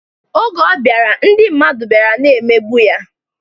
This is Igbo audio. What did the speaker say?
Oge ọ bịara, ndị mmadụ bịara na-emegbu ya.